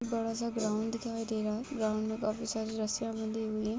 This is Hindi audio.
बड़ा सा ग्राउंड दिखाई दे रहा है ग्राउंड में काफी सारी रस्सियाँ बंधी हुई हैं।